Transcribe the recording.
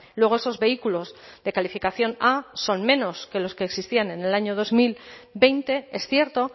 luego esos vehículos de calificación a son menos que los que existían en el año dos mil veinte es cierto